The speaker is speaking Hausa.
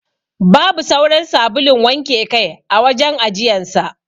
Babu sauran sabulun wanke kai a wajen ajiyan sa.